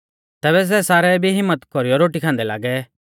तैबै सै सारै भी हिम्मत कौरीयौ रोटी खांदै लागै